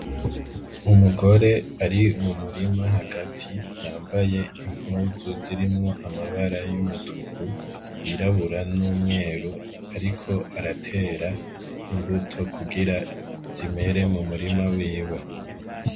Umugore uri mumurima hagati yambaye impuzu zirimwo amabara y'umutuku y'irabura n'umweru ariko aratera imbuto kugira zimere mu murima wiwe.